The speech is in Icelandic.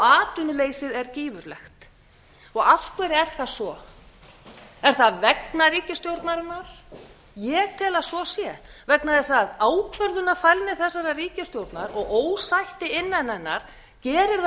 atvinnuleysið er gífurlegt af hverju er það svo er það vegna ríkisstjórnarinnar ég tel að svo sé vegna þess að ákvörðunarfælni þessarar ríkisstjórnar og ósætti innan hennar gerir það